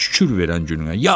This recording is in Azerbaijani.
Şükür verən gününə.